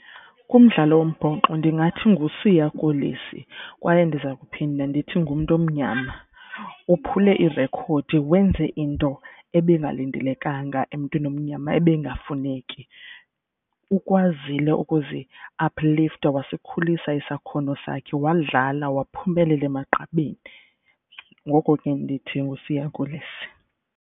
Kumdlalo wombhoxo ndingathi nguSiya Kolisi kwaye ndiza kuphinda ndithi ngumntu omnyama. Uphule irekhodi wenze into ebingalindelekanga emntwini omnyama ebengafuneki. Ukwazile ukuzi-uplifter wasikhulisa isakhono sakhe wadlala waphumelela emagqabini. Ngoko ke ndithi nguSiya Kolisi.